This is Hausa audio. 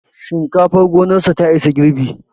Shinkafar gonarsa ta isa girbi